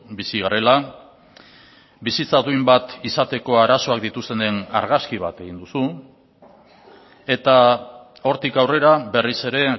bizi garela bizitza duin bat izateko arazoak dituztenen argazki bat egin duzu eta hortik aurrera berriz ere